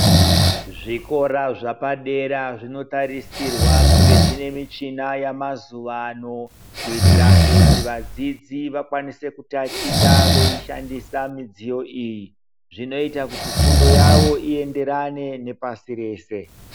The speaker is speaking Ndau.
Zvikora zvapadera zvinotarisirwa kunge zvi ne muchini yamazuva ano kuitira kuti vadzidzi vakwanise tachita veishandisa midziyo iyi zvinoita kuti fundo yavo iyenderane nepasi rese